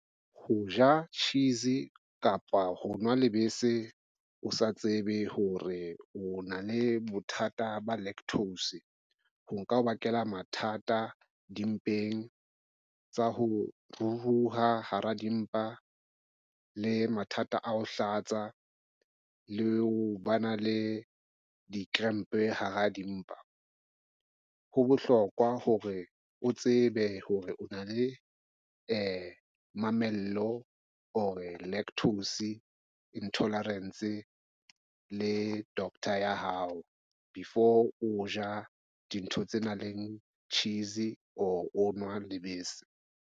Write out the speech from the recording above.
Ho ja cheese kapa ho nwa lebese o sa tsebe hore o na le bothata ba lactose. Ho nka o bakela mathata dimpeng tsa ho ruruha hara dimpa le mathata a ho hlatsw le ho ba na le di-cramp hara dimpa. Ho bohlokwa hore o tsebe hore o na le mamello or e lactose intolerance le doctor ya hao before o ja dintho tse nang le cheese or o nwa lebese.